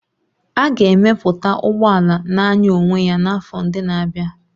A ga-emepụta ụgbọ ala na-anya onwe ya n'afọ ndị na-abịa